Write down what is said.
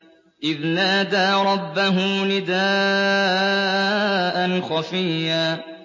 إِذْ نَادَىٰ رَبَّهُ نِدَاءً خَفِيًّا